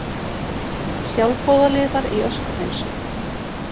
Sjálfboðaliðar í öskuhreinsun